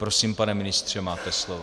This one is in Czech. Prosím, pane ministře, máte slovo.